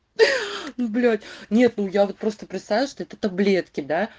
блять нету я просто представляю что это таблетки да